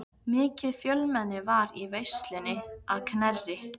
Mikið fjölmenni var í veislunni að Knerri.